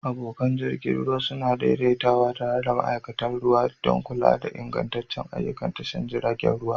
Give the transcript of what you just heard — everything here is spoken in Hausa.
Abokan jirgi ruwa a Imo suna daidaitawa tare da ma'aikatan jirgin ruwa don kula da ingancin ayyukan tashar jiragen ruwa.